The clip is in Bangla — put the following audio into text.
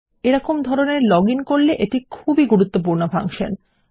এরকম ধরনের লগ ইন করলে এটি খুব গুরুত্বপূর্ণ ফাংশন